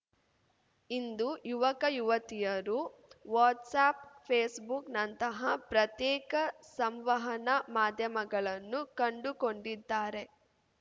ಇಂದು ಯುವಕಯುವತಿಯರು ವಾಟ್ಸ್‌ಆ್ಯಪ್‌ ಫೇಸ್‌ಬುಕ್‌ನಂತಹ ಪ್ರತ್ಯೇಕ ಸಂವಹನ ಮಾಧ್ಯಮಗಳನ್ನು ಕಂಡುಕೊಂಡಿದ್ದಾರೆ